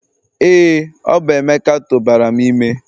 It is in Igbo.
Ee, ọ bụ Emeka tụbara m ime